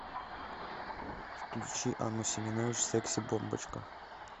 включи анну семенович секси бомбочка